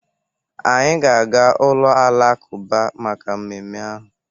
Anyị ga-aga ụlọ alakụba maka mmemme ahụ